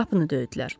Qapını döydülər.